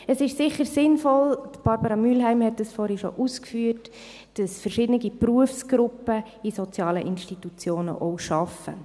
Es ist sicher sinnvoll – Barbara Mühlheim hat das vorhin schon ausgeführt –, dass verschiedene Berufsgruppen in sozialen Institutionen arbeiten.